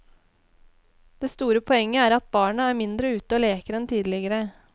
Det store poenget er at barna er mindre ute og leker enn tidligere.